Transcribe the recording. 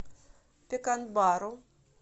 пеканбару